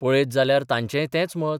पळयत जाल्यार तांचेय तेंच मत.